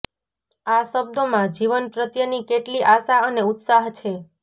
આ શબ્દોમાં જીવન પ્રત્યેની કેટલી આશા અને ઉત્સાહ છે